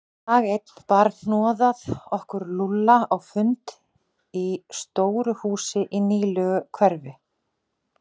Dag einn bar hnoðað okkur Lúlla á fund í stóru húsi í nýlegu hverfi.